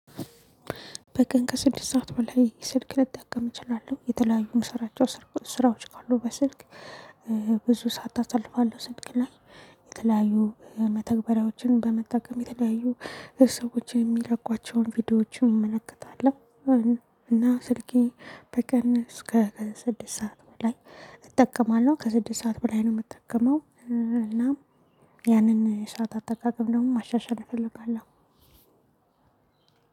በቀን ከስድስት ሰዓት በላይ ስልክ ልጠቀም እችላለሁ የተለያዩ የምሰራቸው ስራዎች ካሉ በስልክ ብዙ ሰዓት አሳልፋለሁ ስልክ ላይ የተለያዩ መተግበሪያዎችን በመጠቀም የተለያዩ ሰዎች የሚለቁዋቸውን ቪዲዮዎችን እመለከታለሁ። እና ስልኬ በቀን እስከ ከስድስት ሰዓት በላይ እጠቀማለሁ ከስድስት ሰዓት በላይ ነው የምጠቀመው። እና ያንን ሰዓት አጠቃቀም ደግሞ ማሻሻል እፈልጋለሁ።